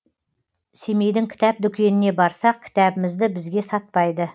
семейдің кітап дүкеніне барсақ кітабымызды бізге сатпайды